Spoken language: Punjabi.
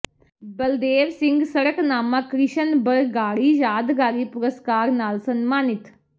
ਬਲਦੇਵ ਸਿੰਘ ਸੜਕਨਾਮਾ ਕ੍ਰਿਸ਼ਨ ਬਰਗਾੜੀ ਯਾਦਗਾਰੀ ਪੁਰਸਕਾਰ ਨਾਲ ਸਨਮਾਨਿਤ